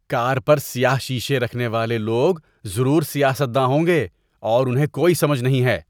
کار پر سیاہ شیشے رکھنے والے لوگ ضرور سیاست داں ہوں گے اور انہیں کوئی سمجھ نہیں ہے۔